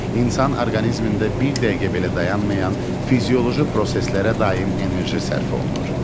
İnsan orqanizmində bir dəqiqə belə dayanmayan fizioloji proseslərə daim enerji sərf olunur.